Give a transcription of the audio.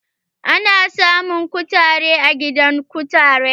Ana samun kutare a gidan kutare.